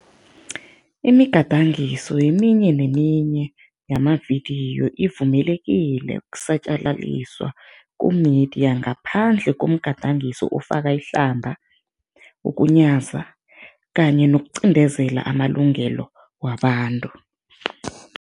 Imigadangiso eminye neminye yamavidiyo ivumelekile ukusatjalaliswa ku-media ngaphandle komgadangiso ofaka ihlamba, ukunyaza kanye nokuqindezela amalungelo wabantu.